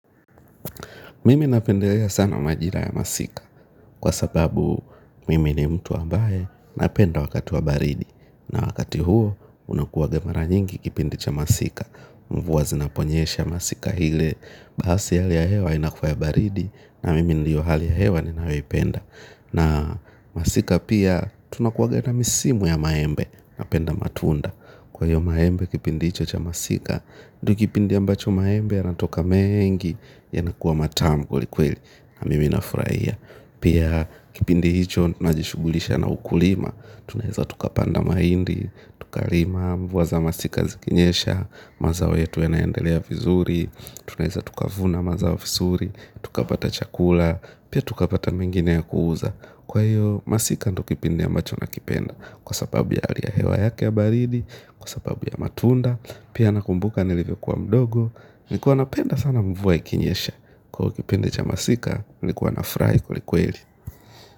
Mimi napendelea sana majira ya masika kwa sababu mimi ni mtu ambaye napenda wakati wa baridi. Na wakati huo unakuwaga mara nyingi kipindi cha masika. Mvuwa zinaponyesha masika ile baasi hali ya hewa inakua ya baridi na mimi ndiyo hali ya hewa ninayoipenda. Na masika pia tunakuwaga na misimu ya maembe napenda matunda. Kwa hiyo maembe kipindi hicho cha masika ndo kipindi ambacho maembe yanatoka meengi. Yanakuwa matamu kwelikweli na mimi nafuraia. Pia kipindi hicho tunajishugulisha na ukulima. Tunaeza tukapanda maindi. Tukalima mvua za masika zikinyesha. Mazao yetu yanaendelea vizuri. Tunaeza tukavuna mazao vizuri. Tukapata chakula. Pia tukapata mengine ya kuuza. Kwa hiyo masika ndo kipindi ambacho nakipenda. Kwa sababu ya ali ya hewa yake ya baridi. Kwa sababu ya matunda. Pia nakumbuka nilivyokuwa mdogo. Nilikuwa napenda sana mvua ikinyesha. Kwa ivo kipindi cha masika nilikuwa nafurahi kwelikweli.